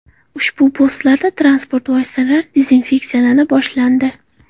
Ushbu postlarda transport vositalari dezinfeksiyalana boshlandi.